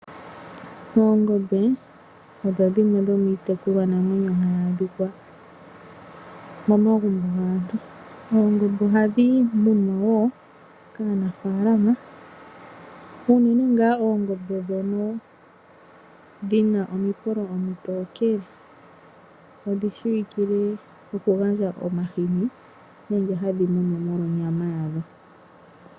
Oongombe odho dhimwe dhomiitekulwanamwenyo hayi adhika momagumbo gaantu. Oongombe ohadhi munwa wo kaanafaalama unene ngaa oongombe ndhono dhi na omipolo omitookele. Odhi shiwikile okugandja omahini nenge hadhi munwa molwa onyama yadho.